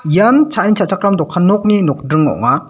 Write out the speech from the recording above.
ian cha·ani cha·chakram dokan nokni nokdring ong·a.